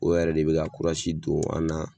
O yɛrɛ de bɛ ka kurasi don an na.